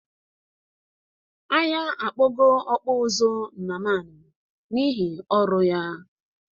Anya akpogo ọkpụ ụzụ Nnamani n'ihi ọrụ ya.